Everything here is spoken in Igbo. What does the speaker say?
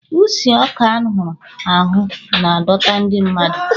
Usi ọka a hụrụ ahụ na-adọta ndị mmadụ.